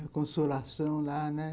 A consolação lá, né?